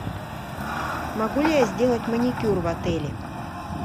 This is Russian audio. могу ли я сделать маникюр в отеле